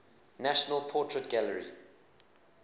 national portrait gallery